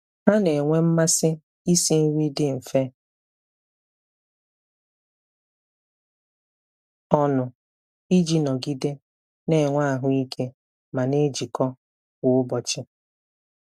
Ha na-enwe mmasị isi nri dị mfe ọnụ iji nọgide na-enwe ahụike ma na-ejikọ kwa ụbọchị.